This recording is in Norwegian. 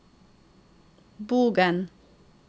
Bogen